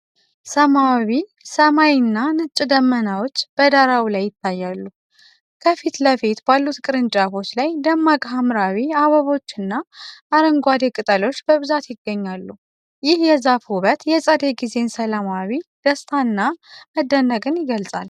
ሰማያዊ ሰማይና ነጭ ደመናዎች በዳራው ላይ ይታያሉ። ከፊት ለፊት ባሉት ቅርንጫፎች ላይ ደማቅ ሐምራዊ አበባዎችና አረንጓዴ ቅጠሎች በብዛት ይገኛሉ። ይህ የዛፉ ውበት የፀደይ ጊዜን ሰላማዊ ደስታና መደነቅን ይገልጻል።